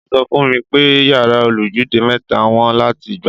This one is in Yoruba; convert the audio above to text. Wọ́n sọ fún mi pé yàrá olójúlé mẹ́ta wọ́n láti gbà.